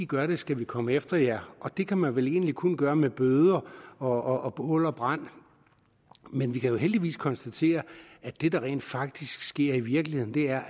gør det skal vi komme efter jer og det kan man vel egentlig kun gøre med bøder og og bål og brand men vi kan jo heldigvis konstatere at det der rent faktisk sker i virkeligheden er